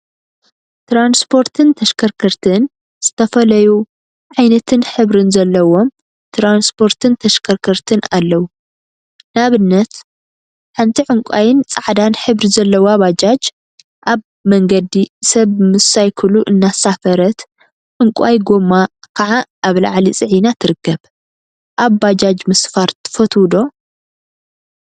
ትራንስፖርትን ተሽከርከርቲን ዝተፈላዩ ዓይነትን ሕብሪን ዘለዎም ትራንስፖርትን ተሽከርከርቲን አለው፡፡ ንአብነት ሓንቲ ዕንቋይን ፃዕዳን ሕብሪ ዘለዋ ባጃጅ አብ መንገዲ ሰብ ምስ ሳይክሉ እናሳፈረት ዕንቋይ ጎማ ከዓ አብ ላዕሊ ፅዒና ትርከብ፡፡ አብ ባጃጅ ምስፋር ትፈትው ዶ?